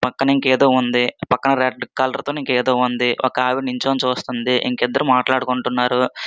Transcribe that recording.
పక్కన ఇంక ఏదో ఉంది. పక్కన రెడ్ కలర్ తో ఇంక ఏదో ఉంది . ఒక ఆవిడ చూస్తున్నది. ఇంకా ఇద్దరు మాటలు ఆడుకుంటున్నారు.